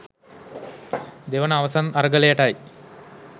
දෙවන අවසන් අරගලයටයි